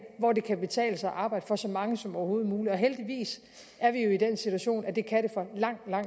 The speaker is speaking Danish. hvor det kan betale sig at arbejde for så mange som overhovedet muligt og heldigvis er vi jo i den situation at det kan det for langt